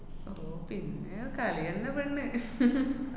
അപ്പൊ പിന്നേ കളിയന്നെ പെണ്ണ്